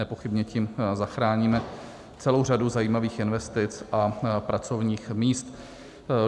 Nepochybně tím zachráníme celou řadu zajímavých investic a pracovních míst.